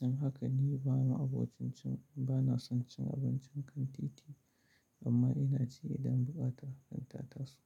Don haka ni bama'a abo cin bana son cin abincin kan titi amma ina ci idan buƙata kan ta taso.